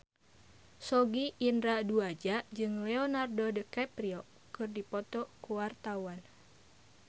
Sogi Indra Duaja jeung Leonardo DiCaprio keur dipoto ku wartawan